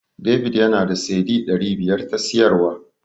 David yana da Cedi ɗari biyar ta siyarwa.